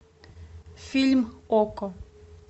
фильм окко